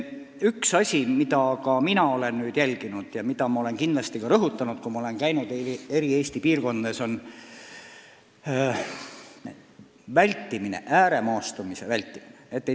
Üks asi, mida ma olen jälginud ja mida ma olen ka Eesti piirkondades käies rõhutanud, on vajadus ääremaastumist vältida.